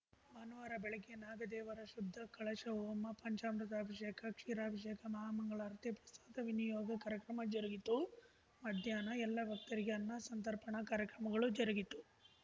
ಭಾನುವಾರ ಬೆಳಗ್ಗೆ ನಾಗ ದೇವರ ಶುದ್ಧ ಕಳಶ ಹೋಮ ಪಂಚಾಮೃತ ಅಭಿಷೇಕ ಕ್ಷೀರಾಭಿಷೇಕ ಮಹಾಮಂಗಳಾರತಿ ಪ್ರಸಾದ ವಿನಿಯೋಗ ಕಾರ್ಯಕ್ರಮ ಜರುಗಿತು ಮಧ್ಯಾಹ್ನ ಎಲ್ಲ ಭಕ್ತರಿಗೆ ಅನ್ನ ಸಂತರ್ಪಣಾ ಕಾರ್ಯಕ್ರಮಗಳು ಜರುಗಿತು